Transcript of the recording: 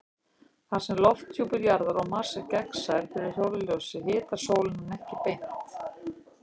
Þar sem lofthjúpur Jarðar og Mars er gagnsær fyrir sólarljósi hitar sólin hann ekki beint.